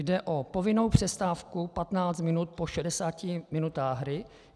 Jde o povinnou přestávku 15 minut po 60 minutách hry.